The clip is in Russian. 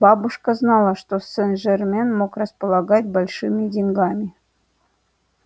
бабушка знала что сен-жермен мог располагать большими деньгами